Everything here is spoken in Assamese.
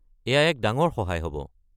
এয়া এক ডাঙৰ সহায় হ'ব।